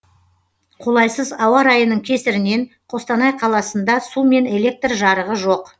қолайсыз ауа райының кесірінен қостанай қаласында су мен электр жарығы жоқ